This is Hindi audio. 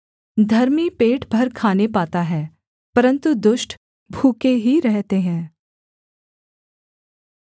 धर्मी पेट भर खाने पाता है परन्तु दुष्ट भूखे ही रहते हैं